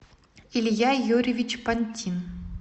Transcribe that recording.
илья юрьевич пантин